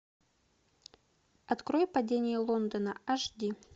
открой падение лондона аш ди